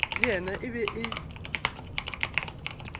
le yena e be e